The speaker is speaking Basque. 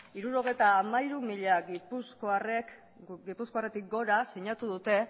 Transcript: hirurogeita hamairu mila gipuzkoarretik gora sinatu dute